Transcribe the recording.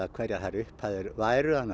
hverjar þær upphæðir væru þannig að